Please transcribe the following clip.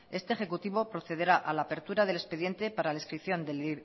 este ejecutivo procederá a la apertura del expediente para descripción del